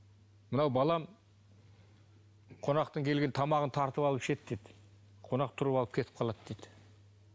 мынау балам қонақтың келген тамағын тартып алып ішеді деді қонақ тұрып алып кетіп қалады дейді